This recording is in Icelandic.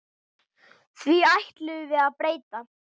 Því ætlum við að breyta.